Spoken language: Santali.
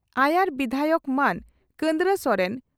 ᱟᱭᱟᱨ ᱵᱤᱫᱷᱟᱭᱚᱠ ᱢᱟᱹᱱ ᱠᱟᱱᱫᱽᱨᱟ ᱥᱚᱨᱮᱱ